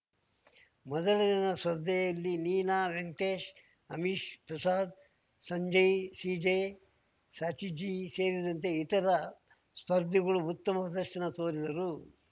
ಮೊದಲ ದಿನದ ಸ್ಪರ್ಧೆಯಲ್ಲಿ ನೀನಾ ವೆಂಕಟೇಶ್‌ ಅಮಿಶ್‌ ಪ್ರಸಾದ್‌ ಸಂಜಯ್‌ ಸಿಜೆ ಸಾಚಿ ಜಿ ಸೇರಿದಂತೆ ಇತರ ಸ್ಪರ್ಧಿಗಳು ಉತ್ತಮ ಪ್ರದರ್ಶನ ತೋರಿದರು